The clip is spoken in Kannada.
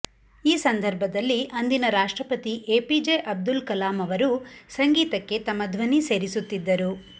ಈ ಸಂದರ್ಭದಲ್ಲಿ ಅಂದಿನ ರಾಷ್ಟ್ರಪತಿ ಎಪಿಜೆ ಅಬ್ದುಲ್ ಕಲಾಂ ಅವರೂ ಸಂಗೀತಕ್ಕೆ ತಮ್ಮ ಧ್ವನಿ ಸೇರಿಸುತ್ತಿದ್ದರು